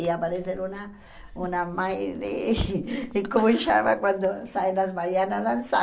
Ia parecer uma uma mãe de... Como chama quando sai das baianas a dançar?